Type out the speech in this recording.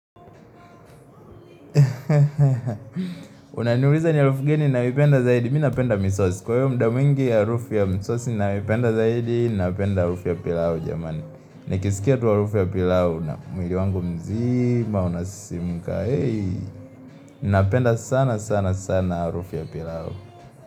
Unaniuliza ni harufu gani ninayo penda zaidi m napenda misos Kwa hiyo muda mwingi ya harufu ya misos ni nanayo penda zaidi napenda harufu ya pilau jamani Nikisikia tu harufu ya pilau na mwili wangu mzima unasisimuka Napenda sana sana sana harufu ya pilau.